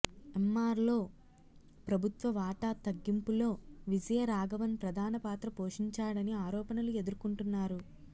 ఎమ్మార్లో ప్రభుత్వ వాటా తగ్గింపులో విజయ రాఘవన్ ప్రధాన పాత్ర పోషించాడని ఆరోపణలు ఎదుర్కుంటున్నారు